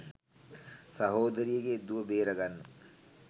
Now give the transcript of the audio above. සහෝදරියගේ දුව බේරගන්න